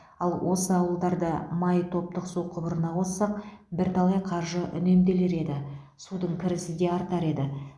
ал осы ауылдарды май топтық су құбырына қоссақ бірталай қаржы үнемделер еді судың кірісі де артар еді